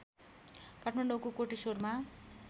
काठमाडौँको कोटेश्वरमा